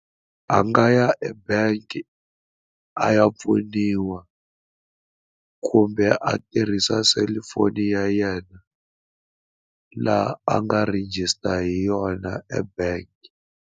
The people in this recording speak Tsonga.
A nga ya ebank a ya pfuniwa kumbe a tirhisa selufoni ya yena laha a nga register hi yona ebank.